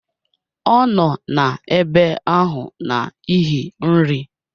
Ọ nọ n'ebe ahụ n'ihi nri